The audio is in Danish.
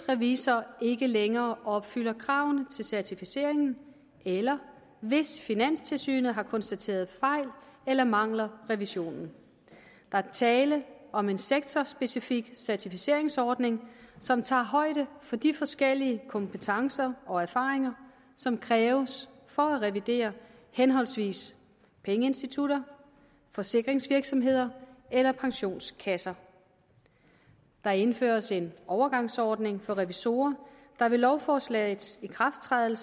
revisor ikke længere opfylder kravene til certificeringen eller hvis finanstilsynet har konstateret fejl eller mangler revisionen der er tale om en sektorspecifik certificeringsordning som tager højde for de forskellige kompetencer og erfaringer som kræves for at revidere henholdsvis pengeinstitutter forsikringsvirksomheder eller pensionskasser der indføres en overgangsordning for revisorer der ved lovforslagets ikrafttræden